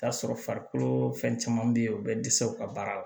T'a sɔrɔ farikolo fɛn caman be yen u bɛ dɛsɛ u ka baara la